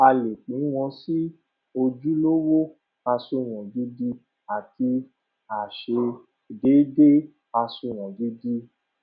a lè pín wọn sì ojúlówó àsunwon gidi àti àìṣedéédé àsunwon gidi